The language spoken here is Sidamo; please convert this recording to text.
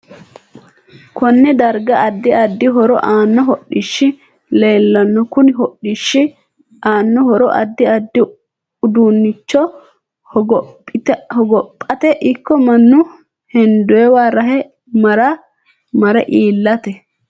Konne darga addi addi horo aanno hodhishi leelanno kuni hodhishi aanno horo addi addi uduunicho hogophate ikko mannu hendowa rahe mare iilata